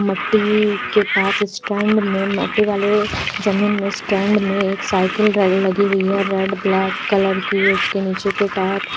मट्टी के पास स्टैंड में मट्टी वाले जमीन में स्टैंड में एक साइकिल र लगी हुई है रेड ब्लैक कलर की उसके नीचे के टायर --